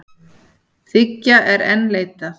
Þriggja er enn leitað.